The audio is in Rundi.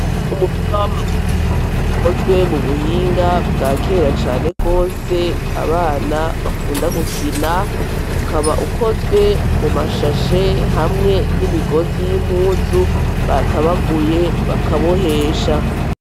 Umupira w'amaguru ukozwe mu buhinga bwa kera cane rwose abana bakunda gukina ukaba ukozwe mu mashashe hamwe n'imigozi y'impuzu batabaguye bakabohesha.